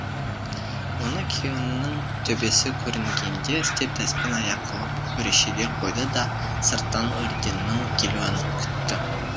оны күйеуінің төбесі көрінгенде істеп дәспен аяқ қылып өрешеге қойды да сырттан өрденнің келуін күтті